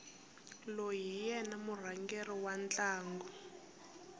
loyi hi yena murhangeri wa ntlangu